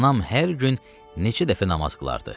Anam hər gün neçə dəfə namaz qılardı.